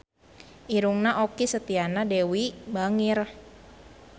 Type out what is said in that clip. Irungna Okky Setiana Dewi bangir